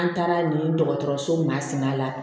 An taara nin dɔgɔtɔrɔso masina la